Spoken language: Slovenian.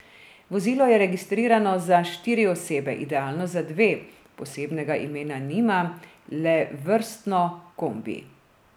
Vozilo je registrirano za štiri osebe, idealno za dve, posebnega imena nima, le vrstno, kombi.